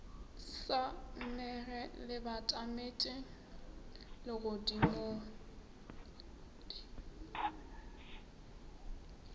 sa mmege le batametše legodimo